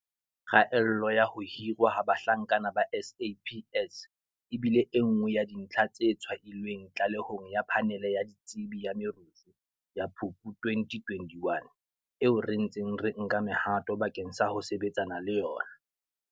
Kgaello ya ho hirwa ha bahlanka ba SAPS e bile e nngwe ya dintlha tse tshwailweng tlalehong ya Phanele ya Ditsebi ya Merusu ya Phupu 2021, eo re ntseng re nka mehato bakeng sa ho sebetsana le yona.